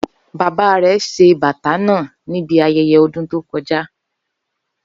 Baba rẹ ṣe bata naa nibi ayẹyẹ ọdun to kọja